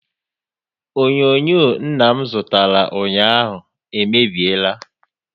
Onyonyo nna m zụtara ụnyaahụ e mebiela